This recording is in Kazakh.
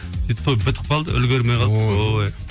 сөйтіп той бітіп қалды үлгермей қалдық ой